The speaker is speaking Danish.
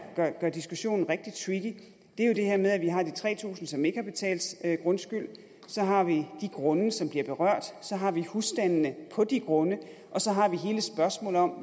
gør diskussionen rigtig tricky er jo det her med at vi har de tre tusind som ikke har betalt grundskyld så har vi de grunde som bliver berørt så har vi husstandene på de grunde og så har vi hele spørgsmålet om